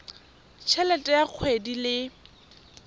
t helete ya kgwedi le